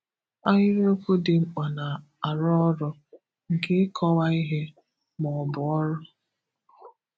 Ahịrịokwu dị mkpa na-arụ ọrụ nke ịkọ̀wa ihe ma ọ bụ ọrụ.